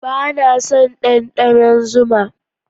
Ba na son ɗanɗanon zuma